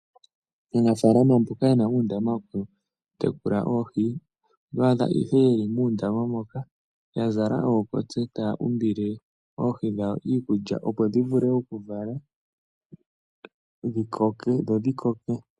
Aanafalama mboka yena undama woku tekula oohi otwadha ihe yeli muundama moka yazala okotse taya umbile oohi dhawo iikulya opo dhivule oku vala dhikoke dho dhi koke.